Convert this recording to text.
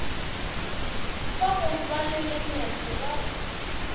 ba go ba le lenyatšoba